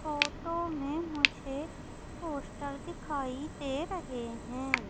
Photo मे मुझे poster दिखाई दे रहे है।